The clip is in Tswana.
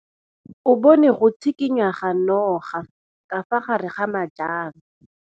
Malome o rekisitse bese ya gagwe ya sekgorokgoro.